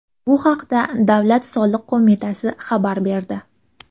Bu haqda Davlat soliq qo‘mitasi xabar berdi .